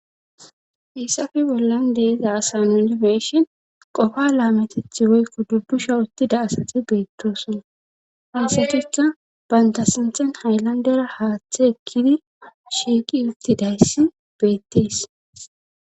hissafe bollan deeza asa nuni be7ifeshin qofa laametetha woykko dubusha uttida asati beettosona haasatukka banta sinthan hayllandera haaththe ekkidi shiiqi uttidayssi beettees